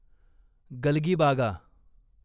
गलगीबागा